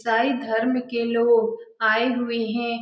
सारे धर्म के लोग आए हुए हैं ।